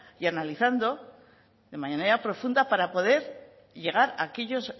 y analizando de manera profunda para poder llegar a aquellas